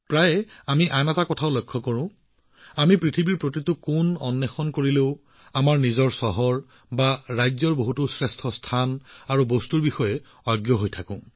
প্ৰায়ে আমি আৰু এটা কথাও দেখিবলৈ পাওঁ যদিও আমি পৃথিৱীৰ প্ৰতিটো চুককোণত বিচাৰি পাওঁ কিন্তু আমি নিজৰ চহৰ বা ৰাজ্যখনৰ বহুতো উত্তম ঠাই আৰু বস্তুৰ বিষয়ে নাজানো